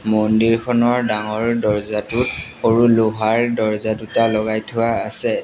মন্দিৰখনৰ ডাঙৰ দৰ্জাটোত সৰু লোহাৰ দৰ্জা দুটা লগাই থোৱা আছে।